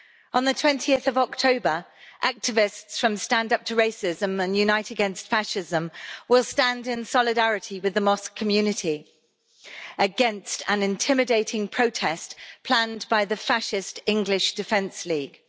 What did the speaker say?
On 20 October, activists from Stand Up to Racism and Unite Against Fascism will stand in solidarity with the mosque community against an intimidating protest planned by the fascist English Defence League.